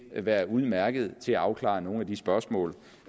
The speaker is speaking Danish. være udmærket til at afklare nogle af de spørgsmål